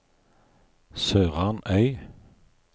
SørarnØy